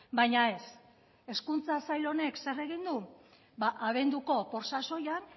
baina ez hezkuntza sail honek zer egin du abenduko sasoian